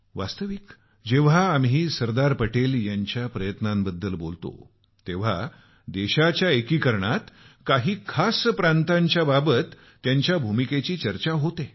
वास्तविक जेव्हा आम्ही सरदार पटेल यांच्या प्रयत्नांबद्दल बोलतो तेव्हा देशाच्या एकीकरणात काही खास प्रांतांच्याबाबत त्यांच्या भूमिकेची चर्चा होते